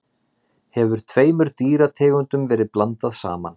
hefur tveimur dýrategundum verið blandað saman